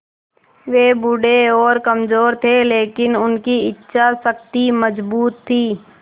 वे बूढ़े और कमज़ोर थे लेकिन उनकी इच्छा शक्ति मज़बूत थी